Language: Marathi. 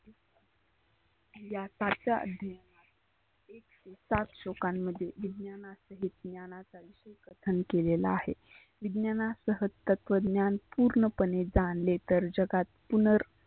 या चार च्या आधी सात श्लोकांमध्ये विज्ञाना सहीत ज्ञानाचा विषेश कथन केलेलं आहे. विज्ञानासह तत्वज्ञान पुर्ण पणे जानले तर जगात पुनर